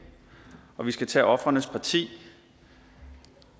og vi skal tage ofrenes parti